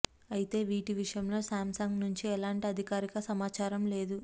అయితే వీటి విషయంలో శాంసంగ్ నుంచి ఎలాంటి అధికారిక సమాచారం లేదు